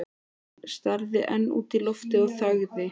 Hann starði enn út í loftið og þagði.